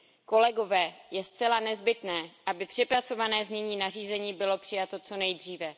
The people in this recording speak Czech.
Kolegové, je zcela nezbytné, aby přepracované znění nařízení bylo přijato co nejdříve.